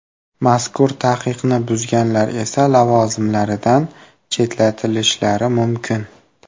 Mazkur taqiqni buzganlar esa lavozimlaridan chetlatilishlari mumkin.